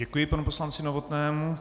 Děkuji panu poslanci Novotnému.